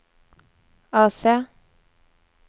AC